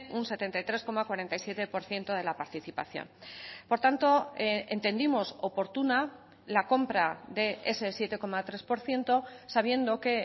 un setenta y tres coma cuarenta y siete por ciento de la participación por tanto entendimos oportuna la compra de ese siete coma tres por ciento sabiendo que